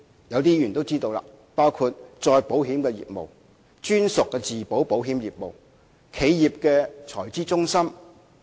有些議員都知道這些例子，包括再保險業務、專屬自保保險業務、企業財資中心等。